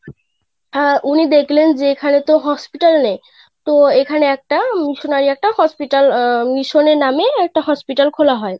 আহ উনি দেখলেন এখানে তো hospital নেই তো এখানে একটা আহ missionary একটা Hospital আহ mission নামে একটা Hospital খোলা হয়.